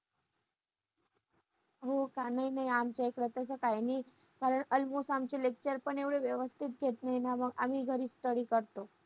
कांदा हाय ना कांदा mixer ने बारीक करायचा मग बारीक केलं ना तेल टाकायचा थोडसं त्याच्यामध्ये कढीपत्ता टाकायचा .